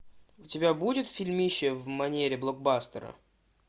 у тебя будет фильмище в манере блокбастера